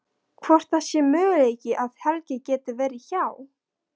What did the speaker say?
Hvort það sé möguleiki að Helgi geti verið hjá.